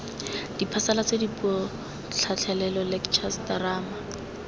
diphasalatso dipuo tlhatlhelelo lectures terama